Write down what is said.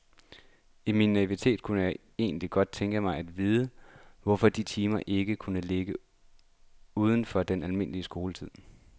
I min naivitet kunne jeg egentlig godt tænke mig at vide, hvorfor de timer ikke kunne ligge uden for den almindelige skoletid.